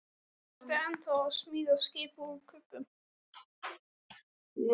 Ertu ennþá að smíða skip úr kubbum?